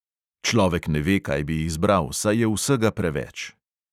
Človek ne ve, kaj bi izbral, saj je vsega preveč.